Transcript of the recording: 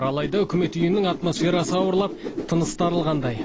алайда үкімет үйінің атмосферасы ауырлап тынысы тарылғандай